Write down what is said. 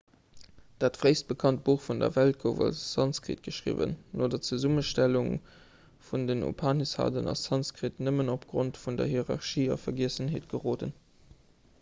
dat fréist bekannt buch vun der welt gouf a sanskrit geschriwwen no der zesummestellung vun den upanishaden ass sanskrit nëmmen opgrond vun der hierarchie a vergiessenheet geroden